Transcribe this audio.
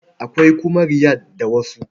Akwai kuma Riyal da wasu.